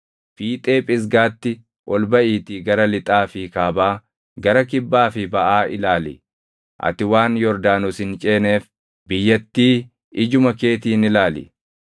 Fiixee Phisgaatti ol baʼiitii gara lixaa fi kaabaa, gara kibbaa fi baʼaa ilaali. Ati waan Yordaanos hin ceeneef biyyattii ijuma keetiin ilaali.